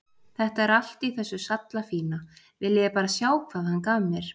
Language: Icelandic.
Þetta er allt í þessu sallafína, viljiði bara sjá hvað hann gaf mér.